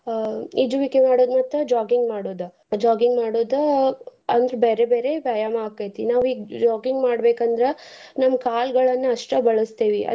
ಈಜುವಿಕೆ ಮಾಡೋದ್ ಮತ್ತ್ jogging ಮಾಡೋದ. jogging ಮಾಡೋದ ಅಂದ್ರ ಬ್ಯಾರೆ ಬ್ಯಾರೆ ವ್ಯಾಯಾಮ ಆಕೆತಿ ನಾವೀಗ್ jogging ಮಾಡ್ಬೇಕಂದ್ರ ನಮ್ ಕಾಲ್ಗಳನ್ನ ಅಸ್ಟ ಬಳಸ್ತೇವಿ.